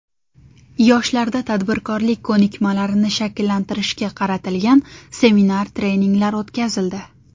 Yoshlarda tadbirkorlik ko‘nikmalarini shakllantirishga qaratilgan seminar-treninglar o‘tkazildi.